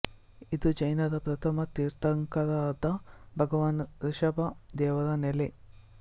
ಇದು ಜೈನರ ಪ್ರಥಮ ತೀರ್ಥಂಕರರಾದ ಭಗವಾನ್ ಋಷಭ ದೇವರ ನೆಲೆ